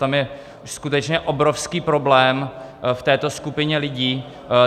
Tam je skutečně obrovský problém v této skupině lidí.